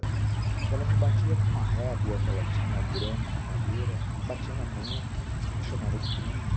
Então, ela me batia com uma régua que ela tinha grande de madeira, batia na mão, me chamava de burro.